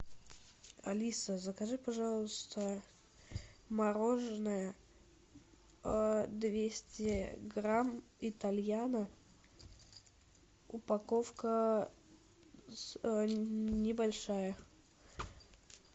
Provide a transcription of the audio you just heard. алиса закажи пожалуйста мороженое двести грамм итальяно упаковка небольшая